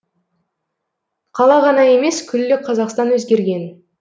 қала ғана емес күллі қазақстан өзгерген